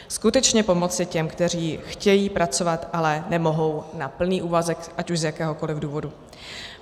Skutečně pomoci těm, kteří chtějí pracovat, ale nemohou na plný úvazek ať už z jakéhokoliv důvodu.